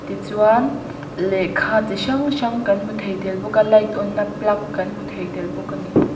tichuan lehkha chi hrang hrang kan hmu thei tel bawk a light on na plug kan hmu thei tel bawk a ni.